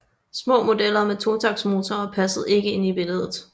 Små modeller med totaktsmotorer passede ikke ind i billedet